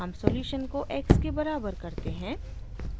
हम सॉल्यूशन को x के बराबर करते हैं